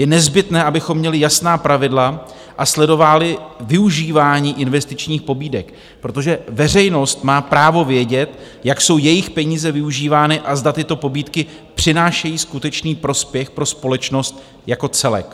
Je nezbytné, abychom měli jasná pravidla a sledovali využívání investičních pobídek, protože veřejnost má právo vědět, jak jsou jejich peníze využívány a zda tyto pobídky přinášejí skutečný prospěch pro společnost jako celek.